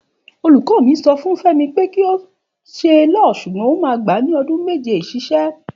Òlúkọ mí, sọ fún fẹmi pẹ kọ sẹ liọ, sugbon òmá gba ní ọdún mẹjẹ isẹsísẹ.